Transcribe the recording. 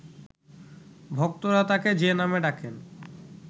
ভক্তরা তাকে যে নামে ডাকেন